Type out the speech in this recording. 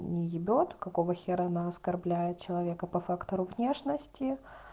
не ебет какого хера на оскорбляет человека по фактору внешности